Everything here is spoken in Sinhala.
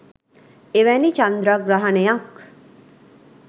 එවැනි චන්ද්‍රග්‍රහණයක්